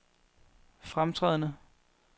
fremtrædende